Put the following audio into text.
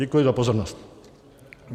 Děkuji za pozornost.